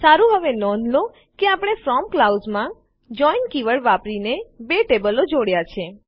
સારું હવે નોંધ લો કે આપણે ફ્રોમ ક્લાઉઝમાં જોઇન કીવર્ડ વાપરીને બે ટેબલો જોડ્યાં છે